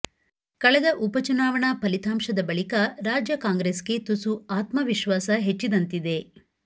ಕಳೆದ ಉಪಚುನಾವಣಾ ಫಲಿತಾಂಶದ ಬಳಿಕ ರಾಜ್ಯ ಕಾಂಗ್ರೆಸ್ಗೆ ತುಸು ಆತ್ಮವಿಶ್ವಾಸ ಹೆಚ್ಚಿದಂತಿದೆ